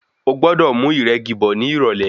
O gbọ́dọ̀ mú ìrẹ́gi bọ̀ ní ìrọ̀lẹ̀.